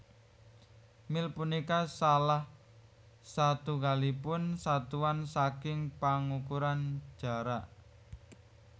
Mil punika salah satunggalipun satuan saking pangukuran jarak